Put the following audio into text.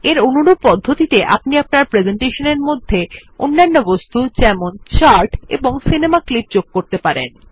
এর অনুরূপ পদ্ধতিতে আপনি আপনার প্রেসেন্টেশনের মধ্যে অন্যান্য বস্তু যেমন চার্ট এবং সিনেমা ক্লিপ যুক্ত করতে পারেন